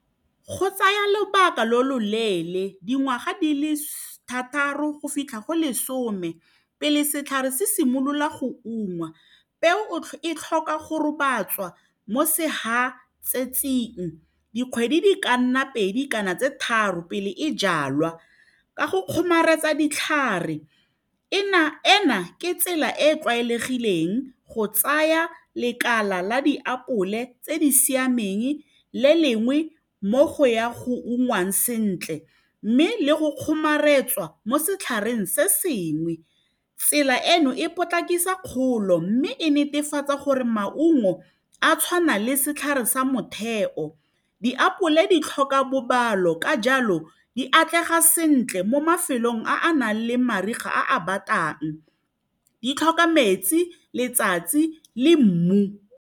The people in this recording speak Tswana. Go tsaya lobaka lo lo leele dingwaga di le thataro go fitlha go lesome pele setlhare se simolola go ungwa, peo e tlhoka go robatswa mo sehatsetsing dikgwedi di ka nna pedi kana tse tharo pele e jalwa ka go kgomaretsa ditlhare ena ke tsela e e tlwaelegileng go tsaya lekala la diapole tse di siameng le lengwe mo go ya go ungwang sentle mme le go kgomaretswa mo setlhareng se sengwe tsela eno e potlakisa kgolo mme e netefatsa gore maungo a tshwana le setlhare sa motheo diapole di tlhoka bobalo ka jalo di atlega sentle mo mafelong a a nang le mariga a a batang di tlhoka metsi, letsatsi le mmu.